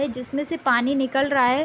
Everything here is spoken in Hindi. ये जिसमें से पानी निकल रहा है।